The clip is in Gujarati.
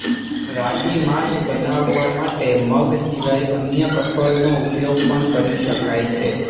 રાગી માલ્ટ બનાવવા માટે મગ સિવાય અન્ય કઠોળનો ઉપયોગ પણ કરી શકાય છે